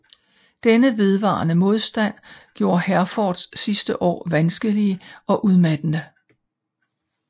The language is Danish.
Denne vedvarende modstand gjorde Herforths sidste år vanskelige og udmattende